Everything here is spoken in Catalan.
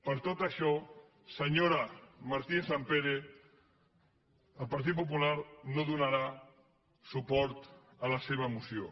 per tot això senyora martínez sampere el partit popular no donarà suport a la seva moció